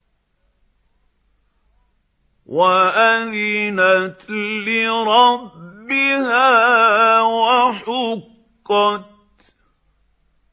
وَأَذِنَتْ لِرَبِّهَا وَحُقَّتْ